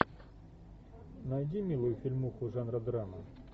найди милую фильмуху жанра драма